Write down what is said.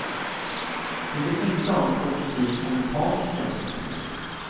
Vi vill inte ha en kollektiv och mekanisk jämställdhet.